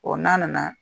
n'a nana